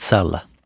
İxtisarla.